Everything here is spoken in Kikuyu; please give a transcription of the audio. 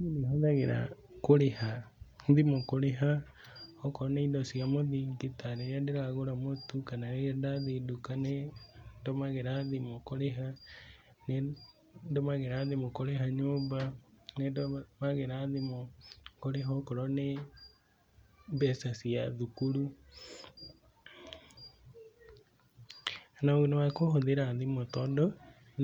Niĩ nĩ hũthagĩra thimũ kũrĩha okorwo nĩ indo cia mũthingi ta rĩrĩa ndĩragũra mũtu, kana rĩrĩa ndathiĩ duka nĩ ndũmagĩra thimũ kũrĩha nĩ ndũmagĩra thimũ kũrĩha nyũmba, nĩ ndũmagĩra thimũ kũrĩha okorwo nĩ mbeca cia thukuru na ũguni wa kũhũthĩra thimu tondũ